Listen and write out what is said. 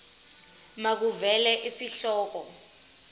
makuvele isihloko isib